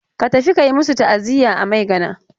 Ka tafi ka yi masu ta'aziya a Maigana.